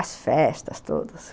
As festas todas.